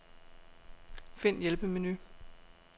Find hjælpemenu.